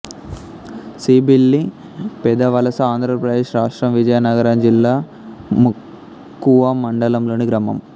సీబిల్లిపెదవలస ఆంధ్ర ప్రదేశ్ రాష్ట్రం విజయనగరం జిల్లా మక్కువ మండలంలోని గ్రామం